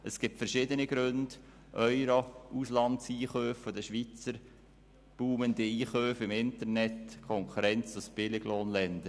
Dafür gibt es verschiedene Gründe wie den Euro, die Auslandeinkäufe der Schweizer, boomende Einkäufe im Internet und Konkurrenz aus Billiglohnländern.